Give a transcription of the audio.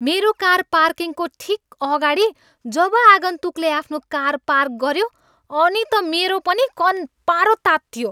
मेरो कार पार्किङको ठिक अगाडि जब आगन्तुकले आफ्नो कार पार्क गऱ्यो अनि त मेरो पनि कन्पारो तात्तियो।